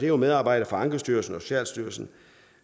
jo medarbejdere fra ankestyrelsen og socialstyrelsen